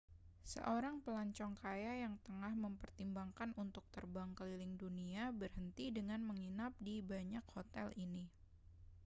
seorang pelancong kaya yang tengah mempertimbangkan untuk terbang keliling dunia berhenti dengan menginap di banyak hotel ini